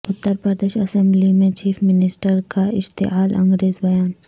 Uttar Pradesh assembly میں chief minister کا اشتعال انگیز بیان